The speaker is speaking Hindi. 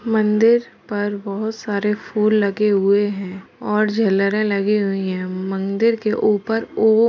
मंदिर पर बहुत सारे फूल लगे हुए हैं और झालरें लगी हुई हैं मंदिर के ऊपर ओ --